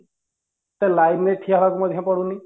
ଏତେ Line ରେ ଠିଆ ହବାକୁ ମଧ୍ୟ ପଡୁନି